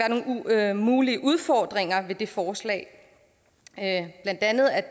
være nogle mulige udfordringer ved det forslag blandt andet at